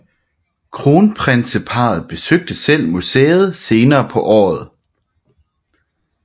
Kronprinseparret besøgte selv museet senere på året